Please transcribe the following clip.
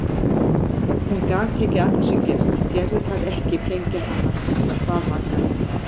Hún gat ekki að þessu gert, gerðu það ekki flengja hana! bað Magga.